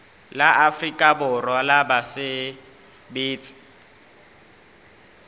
la afrika borwa la basebetsi